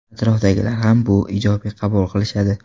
Atrofdagilar ham bu ijobiy qabul qilishadi.